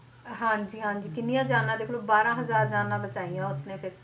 ਹਾਂਜੀ ਹਾਂਜੀ ਕਿੰਨੀਆਂ ਜਾਨਾਂ ਦੇਖ ਲਓ ਬਾਰਾਂ ਹਜ਼ਾਰ ਜਾਨਾਂ ਬਚਾਈਆਂ ਉਸਨੇ ਫਿਰ